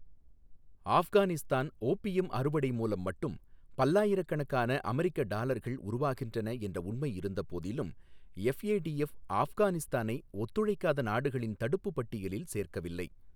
Afghanistan opium அறுவடை மூலம் மட்டும் பல்லாயிரக்கணக்கான அமெரிக்க டாலர்கள் உருவாகின்றன என்ற உண்மை இருந்தபோதிலும், எஃப்ஏடிஎஃப் ஆஃப்கானிஸ்தானை ஒத்துழைக்காத நாடுகளின் தடுப்புப்பட்டியலில் சேர்க்கவில்லை.